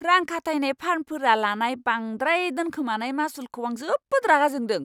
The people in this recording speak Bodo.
रां खाथायनाय फार्मफोरा लानाय बांद्राय दोनखोमानाय मासुलखौ आं जोबोद रागा जोंदों!